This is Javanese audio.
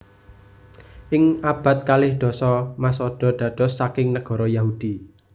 Ing abad kalih dasa Masada dados saking nagara Yahudi